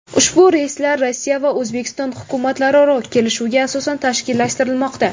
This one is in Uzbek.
Ushbu reyslar Rossiya va O‘zbekiston hukumatlararo kelishuvga asosan tashkillashtirilmoqda.